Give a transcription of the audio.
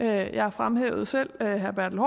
jeg fremhævede selv herre bertel